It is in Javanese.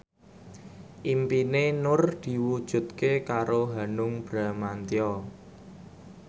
impine Nur diwujudke karo Hanung Bramantyo